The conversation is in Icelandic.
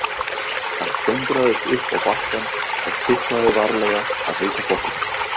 Hann klöngraðist upp á bakkann og tiplaði varlega að heita pottinum.